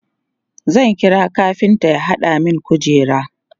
zan kira kafinta ya hada min kujera